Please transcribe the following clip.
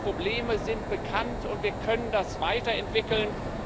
Die Probleme sind bekannt, und wir können das weiterentwickeln.